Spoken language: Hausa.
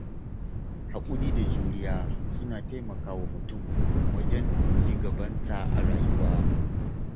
Haƙuri da juriya suna taimakawa mutum wajen ci gabansa a rayuwa.